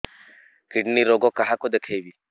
kidney ରୋଗ କାହାକୁ ଦେଖେଇବି